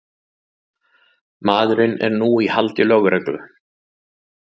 Maðurinn er nú í haldi lögreglu